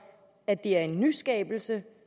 at det er en nyskabelse